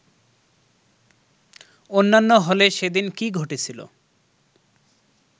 অন্যান্য হলে সেদিন কী ঘটেছিল